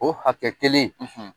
O hakɛ kelen;